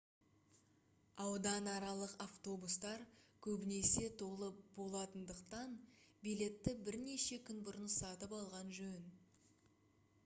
ауданаралық автобустар көбінесе толы болатындықтан билетті бірнеше күн бұрын сатып алған жөн